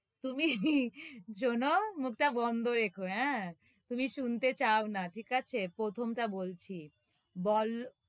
তুমি শোনো, মুখটা বন্ধ রেখো, হ্য়াঁ? তুমি শুনতে চাও না প্রথমটা বলছি বল,